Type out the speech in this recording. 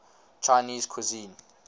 chinese cuisine